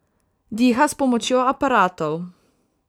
Diha s pomočjo aparatov.